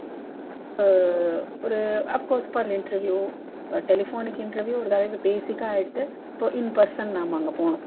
அஹ் ஒரு of course for an interview ah telephonic interview ஒரு basic ah ஆயிடுத்து இப்போ in person நாம அங்க போனு